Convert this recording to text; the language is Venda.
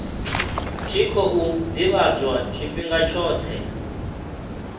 tshi khou ḓivhadzwa tshifhinga tshoṱhe